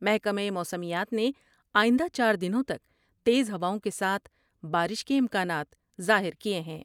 محکمہ موسمیات نے آئندہ چار دنوں تک تیز ہواؤں کے ساتھ بارش کے امکانات ظاہر کئے ہیں ۔